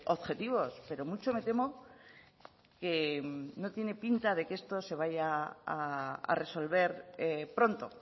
objetivos pero mucho me temo que no tiene pinta de que esto se vaya a resolver pronto